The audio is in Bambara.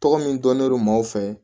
Tɔgɔ min dɔnnen don maaw fɛ